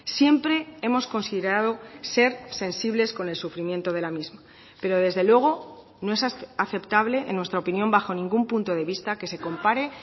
siempre hemos considerado ser sensibles con el sufrimiento de la misma pero desde luego no es aceptable en nuestra opinión bajo ningún punto de vista que se compare